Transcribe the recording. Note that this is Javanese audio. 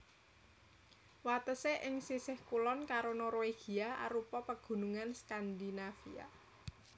Watesé ing sisih kulon karo Norwegia arupa Pegunungan Skandinavia